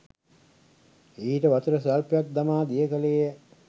ඊට වතුර ස්වල්පයක් දමා දිය කළේය.